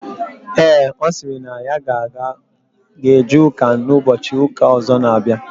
Ee, ọ sịrị na ya ga eje ụka n'ụbọchị ụka ọzọ n'abịa